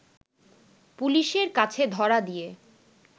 পুলিশের কাছে ধরা দিয়ে